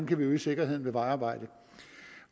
kan øge sikkerheden ved vejarbejde